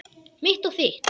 Mitt og þitt.